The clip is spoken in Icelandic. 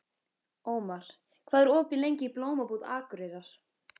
Ómar, hvað er opið lengi í Blómabúð Akureyrar?